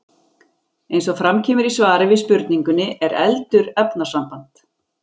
Eins og fram kemur í svari við spurningunni Er eldur efnasamband?